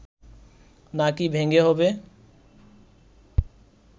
না কি ভেঙে হবে